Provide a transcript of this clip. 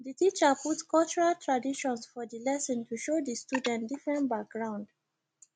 the teacher put cultural traditions for for lesson to show the student different background